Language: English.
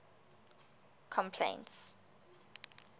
complaints